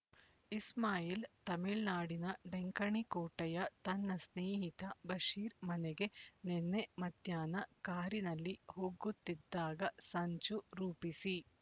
ಇಸ್ಮಾಯಿಲ್ ತಮಿಳುನಾಡಿನ ಡೆಂಕಣಿಕೋಟೆಯ ತನ್ನ ಸ್ನೇಹಿತ ಬಶೀರ್ ಮನೆಗೆ ನಿನ್ನೆ ಮಧ್ಯಾಹ್ನ ಕಾರಿನಲ್ಲಿ ಹೋಗುತ್ತಿದ್ದಾಗ ಸಂಚು ರೂಪಿಸಿ